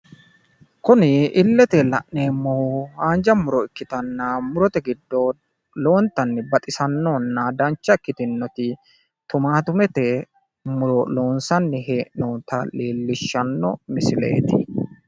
kuni illite la'neemmohu haanja muro ikkitanna murote giddo lowontanni baxisannohona dancha ikkitinoti tumaatumete muro loonsanni hee'noonita leellishshanno misileeti.